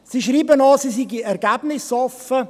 Sie schreiben auch, sie seien ergebnisoffen.